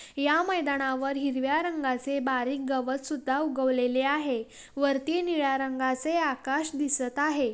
या मैदानावर हिरव्या रंगाचे बारीक गवत सुध्दा उगवलेले आहे वरती निळ्या रंगाचे आकाश दिसत आहे.